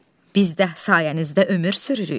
Biz də sayənizdə ömür sürürük.